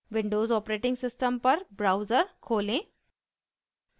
Windows operating system पर browser खोलें